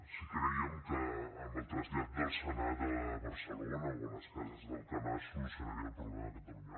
si crèiem que amb el trasllat del senat a barcelona o a les cases d’alcanar es solucionaria el problema de catalunya